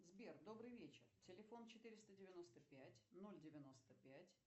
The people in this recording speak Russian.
сбер добрый вечер телефон четыреста девяносто пять ноль девяносто пять